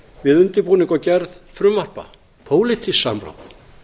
við undirbúning og gerð frumvarpa pólitískt samráð